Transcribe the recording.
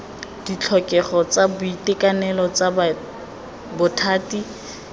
ditlhokego tsa boitekanelo tsa bothati